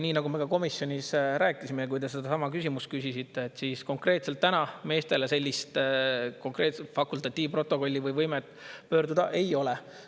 Nii nagu me ka komisjonis rääkisime, kui te sellesama küsimuse esitasite, praegu meestel sellist konkreetset fakultatiivprotokolli või pöörduda ei ole.